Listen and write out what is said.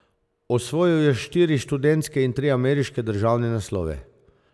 Osvojil je štiri študentske in tri ameriške državne naslove.